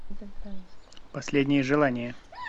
последнее желание